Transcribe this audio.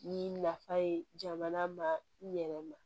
Ni nafa ye jamana ma yɛrɛ ma